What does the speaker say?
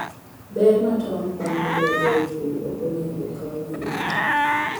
Ber ma tong' konyo godo e pur ok onego okaw mayot.